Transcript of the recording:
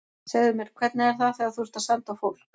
Segðu mér, hvernig er það þegar þú ert að senda á fólk.